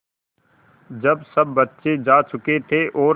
जब सब बच्चे जा चुके थे और